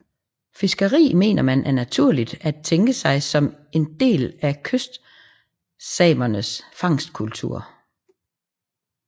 Fiskeri mener man er naturligt at tænke sig som en del af kystsamernes fangstkultur